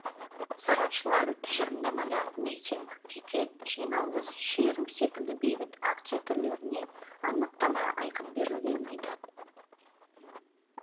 сарапшылар тұжырымдамада митинг пикет жиналыс шеру секілді бейбіт акция түрлеріне анықтама айқын берілгенін айтады